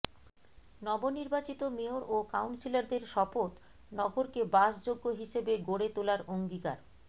নবনির্বাচিত মেয়র ও কাউন্সিলরদের শপথ নগরকে বাসযোগ্য হিসেবে গড়ে তোলার অঙ্গীকার